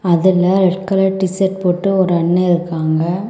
அதுல red colour T shirt போட்டு ஒரு அண்ண இருக்காங்க.